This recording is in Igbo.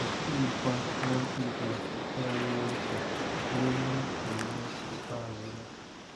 O sighịkwa ná mkpebi a tụgharịa uche ruo n'iku ume ikpeazụ ya.